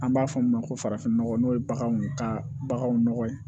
An b'a fɔ min ma ko farafin nɔgɔ n'o ye baganw ka baganw nɔgɔ ye